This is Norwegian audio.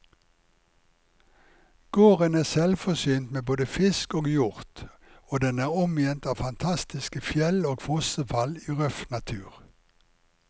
Gården er selvforsynt med både fisk og hjort, og den er omgitt av fantastiske fjell og fossefall i røff natur.